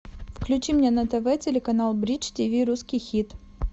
включи мне на тв телеканал бридж тиви русский хит